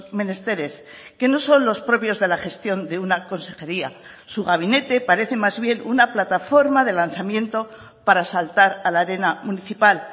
menesteres que no son los propios de la gestión de una consejería su gabinete parece más bien una plataforma de lanzamiento para saltar a la arena municipal